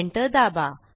enter दाबा